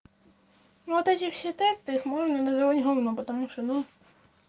ну вот эти все тесты их можно называть говном потому что ну